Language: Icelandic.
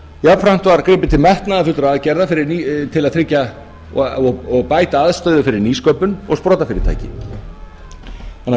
jafnframt var gripið til metnaðarfullra aðgerða og bæta aðstöðu fyrir nýsköpun og sprotafyrirtæki þannig